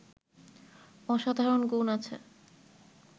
অসাধারণ গুণ আছে